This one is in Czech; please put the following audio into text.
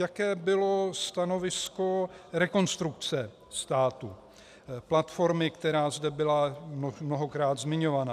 Jaké bylo stanovisko Rekonstrukce státu, platformy, která zde byla mnohokrát zmiňovaná.